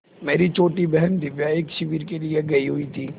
मेरी छोटी बहन दिव्या एक शिविर के लिए गयी हुई थी